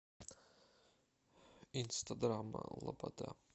инстадрама лобода